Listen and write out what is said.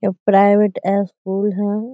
ये private school है।